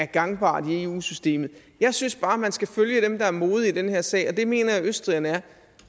gangbart i eu systemet jeg synes bare man skal følge dem der er modige i den her sag og det mener jeg østrigerne er